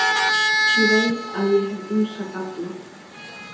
Ég veit að ég hef ýmsa galla.